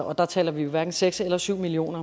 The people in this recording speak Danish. og der taler vi hverken seks eller syv million